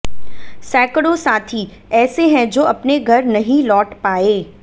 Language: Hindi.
सैकड़ों साथी ऐसे हैं जो अपने घर नहीं लौट पाये